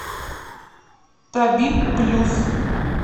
табиб плюс